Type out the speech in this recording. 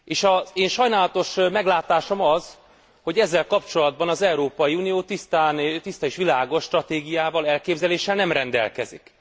Az én sajnálatos meglátásom az, hogy ezzel kapcsolatban az Európai Unió tiszta és világos stratégiával, elképzeléssel nem rendelkezik.